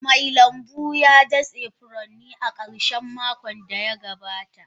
Mai lambu ya datse furanni a karshen makon da ya gabata.